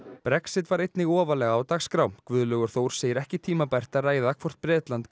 Brexit var einnig ofarlega á dagskrá Guðlaugur Þór segir ekki tímabært að ræða hvort Bretland